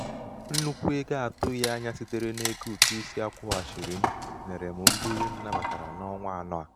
nnukwu ego a tụghị anya sitere n’ego ụ̀tụisi a kwụ̄ghàchirì m nyèrè m mbuli m nnabàtàrà n’ọnwa n’ọnwa anọ̀ à.